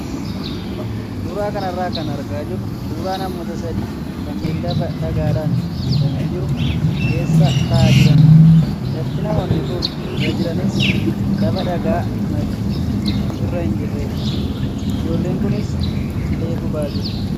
Suuraa kanarraa kan argaa jirru suuraa namoota sadii kanneen lafa dhagaadhaan guutamee jiru keessa taa'aa jiranidha. Lafti namoonni kun irra jiranis lafa dhagaa margi muktis irra hin jirredha. Ijoolleen kunis cilee gubaa jiru.